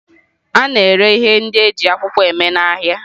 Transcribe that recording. A na-ere ihe ndị e ji akwụkwọ mee n'ahịa.